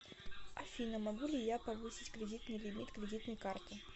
афина могу ли я повысить кредитный лимит кредитной карты